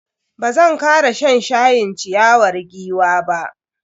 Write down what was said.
Bazan kara shan shayin ciyawar giwa ba.